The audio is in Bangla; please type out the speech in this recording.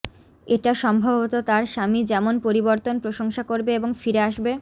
এটা সম্ভবত তার স্বামী যেমন পরিবর্তন প্রশংসা করবে এবং ফিরে আসবে